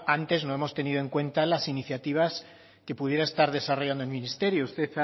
antes no hemos tenido en cuenta las iniciativas que pudiera estar desarrollando el ministerio usted